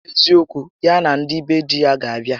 N'eziokwu, ya na ndị be di ya ga abịa